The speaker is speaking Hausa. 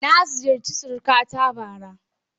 Na ziyarci surukata bara.